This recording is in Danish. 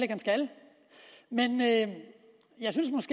han skal men jeg synes